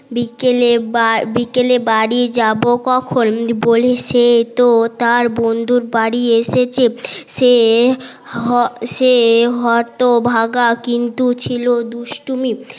বিকেলে বা বিকেলে বাড়ি যাবো কখন বলে সে তো তার বন্ধুর বাড়ি এসেছে সে হ সে । কিন্তু ছিল দুষ্টুমি